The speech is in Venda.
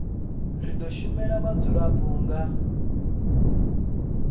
ri do shumela vhadzulapo nga